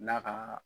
N'a ka